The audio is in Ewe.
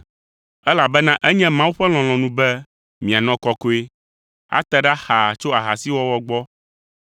Elabena enye Mawu ƒe lɔlɔ̃nu be mianɔ kɔkɔe; ate ɖa xaa tso ahasiwɔwɔ gbɔ,